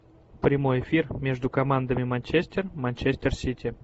прямой эфир между командами манчестер манчестер сити